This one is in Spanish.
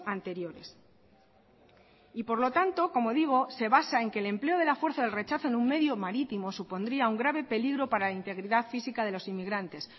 anteriores y por lo tanto como digo se basa en que el empleo de la fuerza del rechazo en un medio marítimo supondría un grave peligro para la integridad física de los inmigrantes